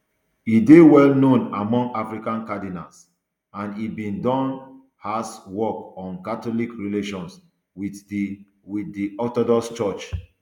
e dey well known among african cardinals and e bin don has work on catholic relations wit di wit di orthodox church